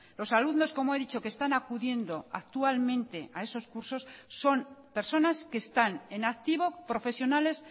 los alumnos como he dicho que están acudiendo actualmente a esos cursos son personas que están en activo profesionales